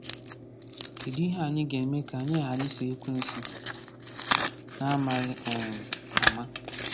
Kedụ ihe anyị ga-eme ka anyị ghara iso Ekwensu n’amaghị um ama?